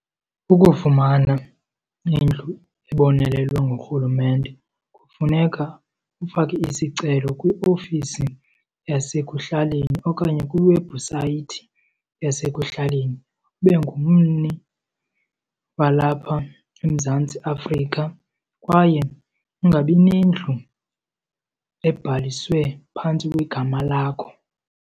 Ukufumana indlu ebonelelwe ngurhulumente kufuneka ufake isicelo kwiofisi yasekuhlaleni okanye kwiwebhusayithi yasekuhlaleni. Ube ngummi walapha eMzantsi Afrika kwaye ungabi nendlu ebhaliswe phantsi kwegama lakho.